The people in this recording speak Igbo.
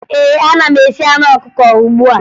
Ee, ana m esi anụ ọkụkọ ugbu a